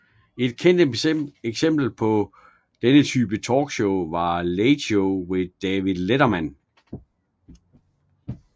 Et kendt eksempel på denne type talkshow er Late Show with David Letterman